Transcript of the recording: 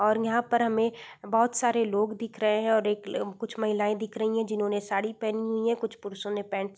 और यहाँ पर हमें बहोत सारे लोग दिख रहे हैं और एक कुछ महिलाएं दिख रहीं हैं जिन्होंने साड़ी पहनी हुई है कुछ पुरुषों ने पैंट --